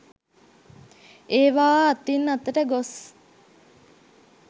ඒවා අතින් අතට ගොස්